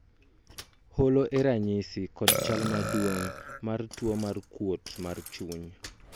holo e ranyisi kod chal maduong' mar tuo mar kuot mar chuny